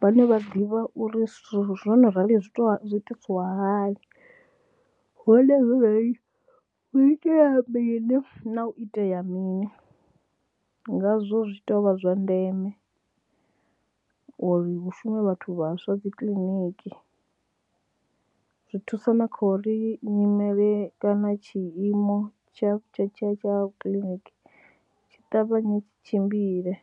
vhane vha ḓivha uri zwithu zwo no rali zwi zwi itisiwa hani, hone hu itea mini na u itea mini, ngazwo zwi tea u vha zwa ndeme uri hu shume vhathu vhaswa dzi kiḽiniki zwi thusa na kha uri nyimele kana tshiimo tsha tsha tsha tsha kiḽiniki tshi ṱavhanye tshi tshimbile.